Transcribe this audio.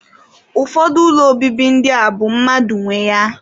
Ụfọdụ ụlọ obibi ndị a bụ mmadụ nwe ya.